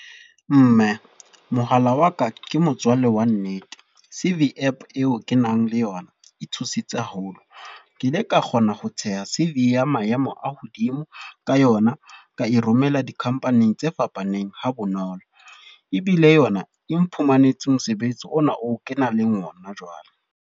Mme, mohala wa ka ke motswalle wa nnete. C_V app eo ke nang le yona, e thusitse haholo. Ke ile ka kgona ho theha C_V ya maemo a hodimo, ka yona. Ka e romela di-company tse fapaneng ha bonolo. Ebile yona, e mphumanetse mosebetsi ona o kenang le ona jwale.